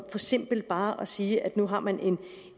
simpelt bare at sige at nu har man